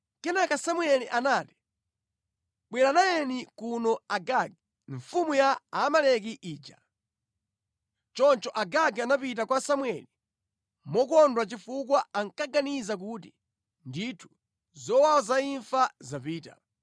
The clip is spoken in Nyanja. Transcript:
Kenaka Samueli anati, “Bwera nayeni kuno Agagi, mfumu ya Amaleki ija.” Choncho Agagi anapita kwa Samueli mokondwa chifukwa ankaganiza kuti, “Ndithu zowawa za imfa zapita.”